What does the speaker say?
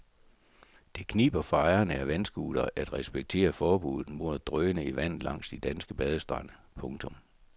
Det kniber for ejerne af vandscootere at respektere forbudet mod at drøne i vandet langs de danske badestrande. punktum